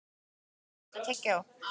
Ísdögg, áttu tyggjó?